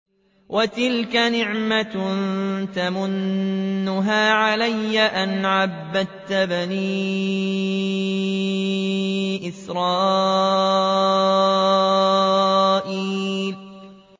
وَتِلْكَ نِعْمَةٌ تَمُنُّهَا عَلَيَّ أَنْ عَبَّدتَّ بَنِي إِسْرَائِيلَ